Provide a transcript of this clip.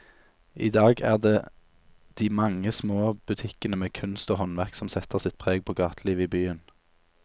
I dag er det de mange små butikkene med kunst og håndverk som setter sitt preg på gatelivet i byen.